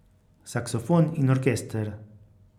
Saksofon in orkester.